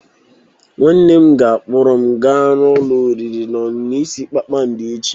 Nwanne m ga-akpọrọ m gaa ụlọ oriri na ọṅụṅụ ise kpakpando echi.